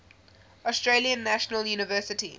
australian national university